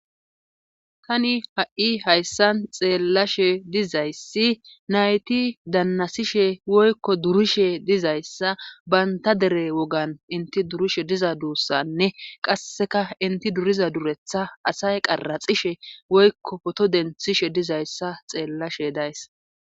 tani ha7i hayssan xeellashe dizayssi nayti dannasishe woykko durishe dizayssa bantta dere wogan inti duri diza duussanne qasseka enti duriza duretta asay qaratsishe woykko pooto denttishe dizayssa xeellashe days.